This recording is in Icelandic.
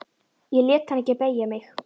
Ég lét hann ekki beygja mig.